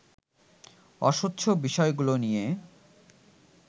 অস্বচ্ছ বিষয়গুলো নিয়ে